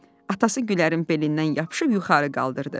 Atası Gülərin belindən yapışıb yuxarı qaldırdı.